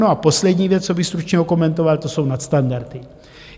No a poslední věc, co bych stručně okomentoval, to jsou nadstandardy.